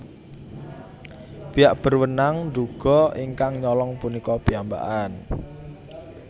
Pihak berwenang nduga ingkang nyolong punika piyambakan